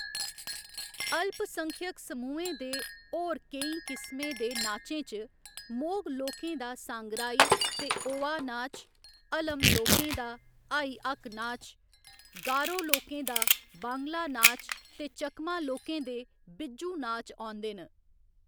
अल्पसंख्यक समूहें दे होर केई किसमें दे नाचें च, मोग लोकें दा सांगराई ते ओवा नाच, हलम लोकें दा हाई हक्क नाच, गारो लोकें दा वांगला नाच ते चकमा लोकें दे बिझु नाच औंदे न।